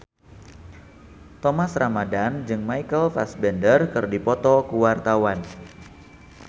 Thomas Ramdhan jeung Michael Fassbender keur dipoto ku wartawan